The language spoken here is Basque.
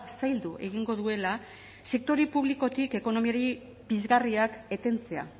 zaildu egingo duela sektore publikotik ekonomiari pizgarriak etentzea